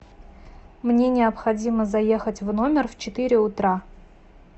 мне необходимо заехать в номер в четыре утра